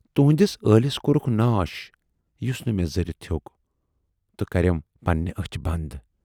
تُہٕندِس ٲلِس کورُکھ ناش، یُس نہٕ مےٚ ذٔرِتھ ہیوک تہٕ کَرٮ۪م پننہِ ٲچھ بَند۔